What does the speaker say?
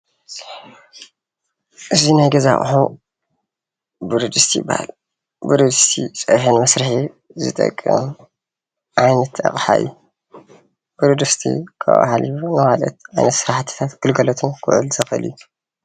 እዚ ናይ ገዛ ኣቁሑ ብረድስቲ ይባሃል፡፡ ብረድስቲ ፀብሒ ንመስርሒ ዝጠቅም ዓይነት ኣቅሓ እዩ፡፡ ብረድስቲ ካብኡ ሓሊፉ ካልኦት ዓይነት ስራሕትታትን ግልጋሎታት ክውዕል ዝክእል እዩ፡፡